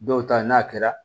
Dɔw ta ye n'a kɛra